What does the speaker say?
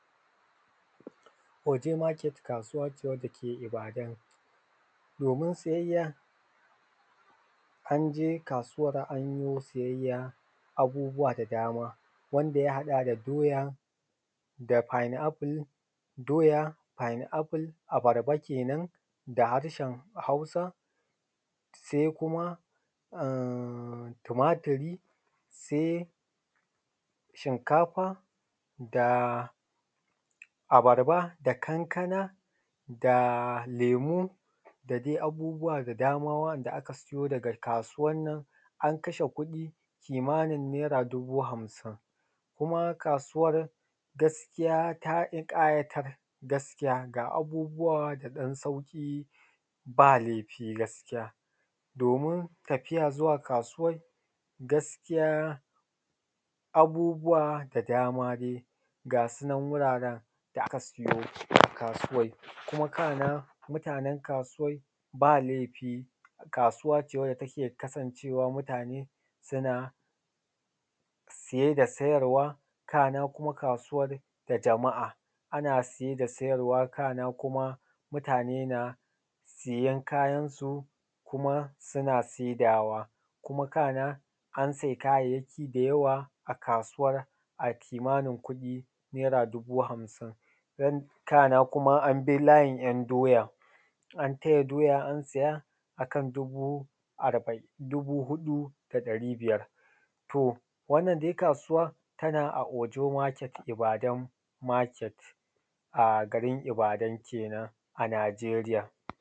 Ojo market kasuwa ce wadda ke Ibadan domin siyayya. An je kasuwan an yi siyayya abubuwa da dama wanda ya haɗa da doya da pineapple abarba kenan da harshen hausa sai kuma tumatiri sai shikafa da abarba da kankana da lemu da dai abubuwa da dama wa’anda aka siyo daga kasuwanan an kashe kuɗi kimanin naira dubu hamsin, Kuma kasuwan gaskiya ta ƙayatar gaskiya ga abubbuwa da ɗan sauƙi ba laifi gaskiya. Domin tafiya zuwa kasuwan gaskiya abubuwa da dama dai gasunan wuraren da aka siyo a kasuwan. Kuma kana mutanen kasuwan ba laifi kasuwace wadda take kasancewa mutane suna siye da sayarwa, kana kuma kasuwan da jama’a. A na saye da sayarwa kana kuma mutane na sayen kayan su kuma suna saidawa kuma kana an saye kayayyaki da yawa a kasuwar a kimanin kuɗi naira dubu hamsin. Kana kuma an bi layin ‘yan doya, an taya doya, an siya a kan dubu huɗu da ɗari biyar. To wannan dai kasuwa tana a ojo market ibadan market a garin Ibadan kenan a Najeriya